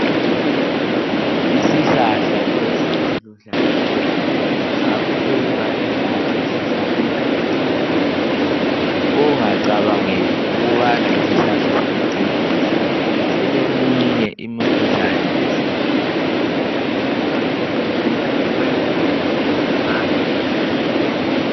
Isihlahla lesi esiluhlaza ,sabukeka engathi yisihlahla sokucecisa .Ungacabangeli ukubana yisihlahla sokucecisa ,sileminye imikhuhlane esiyelaphayo. Ngokwemvelo sitholakala egangeni.